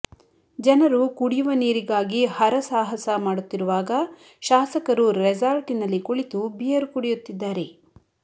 ಜನರು ಕುಡಿಯುವ ನೀರಿಗಾಗಿ ಹರ ಸಹಾಸ ಮಾಡುತ್ತಿರುವಾಗ ಶಾಸಕರು ರೆಸಾರ್ಟಿನಲ್ಲಿ ಕುಳಿತು ಬೀಯರು ಕುಡಿಯುತ್ತಿದ್ದಾರೆ